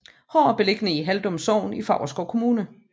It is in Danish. Hår er beliggende i Haldum Sogn i Favrskov Kommune